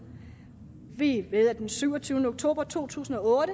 vi ved at den syvogtyvende oktober to tusind og